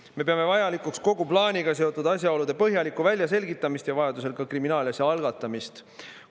Me peame vajalikuks kogu plaaniga seotud asjaolude põhjalikku väljaselgitamist ja vajadusel ka kriminaalasja algatamist.